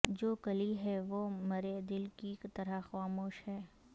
جو کلی ہے وہ مرے دل کی طرح خاموش ہے